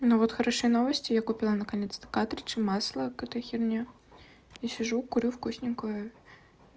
ну вот хорошие новости я купила наконец-то картриджи масло какую-то херню и сижу курю вкусненькую